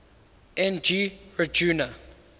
n g rjuna